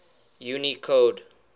unicode